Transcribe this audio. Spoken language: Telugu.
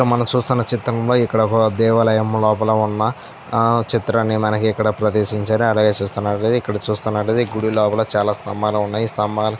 మనం చూస్తున్న చిత్రంలో ఇక్కడ ఒక దేవాలయం లోపులో ఉన్న ఆహ్ చిత్రాన్ని మనకు ఇక్కడ ప్రదేశించారు అలాగే చూస్తున్నట్లైతే ఇక్కడ చూస్తున్నట్లైతే ఈ గుడి లోపల చాల స్తంబాలు ఉన్నాయ్ ఈ స్తంబాలు --